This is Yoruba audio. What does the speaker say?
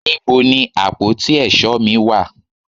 níbo ni àpótí èsó mi wà